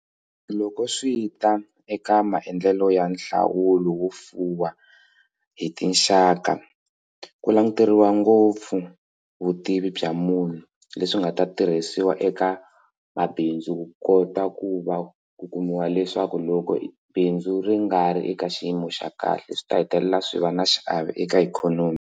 Loko swi ta eka maendlelo ya nhlawulo wo fuwa hi tinxaka ku languteriwa ngopfu vutivi bya munhu leswi swi nga ta tirhisiwa eka mabindzu ku kota ku va ku kumiwa leswaku loko bindzu ri nga ri eka xiyimo xa kahle swi ta hetelela swi va na xiave eka ikhonomi.